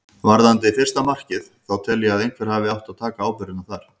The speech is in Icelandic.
Varðandi fyrsta markið þá tel ég að einhver hafi átt að taka ábyrgðina þar.